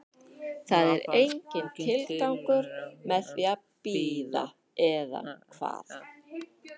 Það er enginn tilgangur með því að bíða, eða hvað?